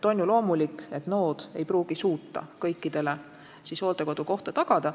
On ju loomulik, et nood omavalitsused ei pruugi suuta kõikidele abivajajatele hooldekodukohta tagada.